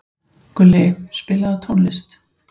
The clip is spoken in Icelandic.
Gulli, spilaðu tónlist.